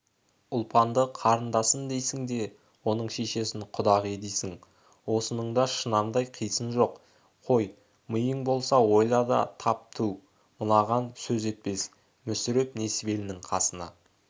ұлпанды қарындасым дейсің де оның шешесін құдағи дейсің осыныңда шұнамдай қисын жоқ қой миың болса ойла да тап түу мынаған сөз етпес мүсіреп несібелінің қасына